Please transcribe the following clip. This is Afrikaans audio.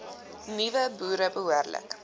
nuwe boere behoorlik